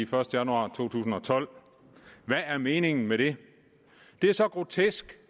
første januar to tusind og tolv hvad er meningen med det det er så grotesk